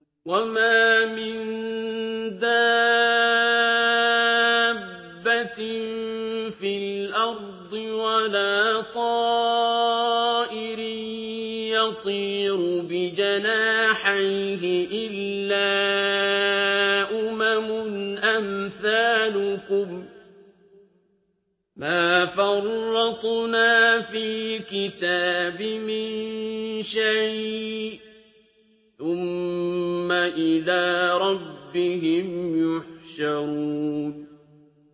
وَمَا مِن دَابَّةٍ فِي الْأَرْضِ وَلَا طَائِرٍ يَطِيرُ بِجَنَاحَيْهِ إِلَّا أُمَمٌ أَمْثَالُكُم ۚ مَّا فَرَّطْنَا فِي الْكِتَابِ مِن شَيْءٍ ۚ ثُمَّ إِلَىٰ رَبِّهِمْ يُحْشَرُونَ